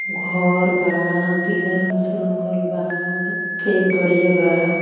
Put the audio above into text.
घर बा पीला रंग से रंगल बा। अफेद गड़िया बा.